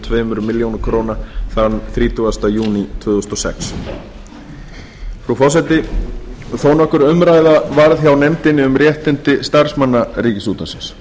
tveimur milljónum króna þann þrítugasta júní tvö þúsund og sex frú forseti þó nokkur umræða varð hjá nefndinni um réttindi starfsmanna ríkisútvarpsins